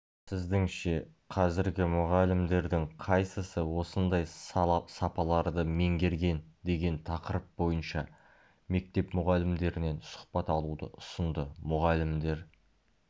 сіздіңше қазіргі мұғалімдердің қайсысы осындай сапаларды меңгерген деген тақырып бойынша мектеп мұғалімдерінен сұхбат алуды ұсынды мұғалімдер